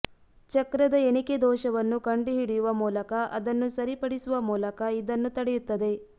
ಚಕ್ರದ ಎಣಿಕೆ ದೋಷವನ್ನು ಕಂಡುಹಿಡಿಯುವ ಮೂಲಕ ಅದನ್ನು ಸರಿಪಡಿಸುವ ಮೂಲಕ ಇದನ್ನು ತಡೆಯುತ್ತದೆ